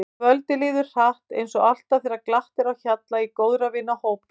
Kvöldið líður hratt eins og alltaf þegar glatt er á hjalla í góðra vina hópi.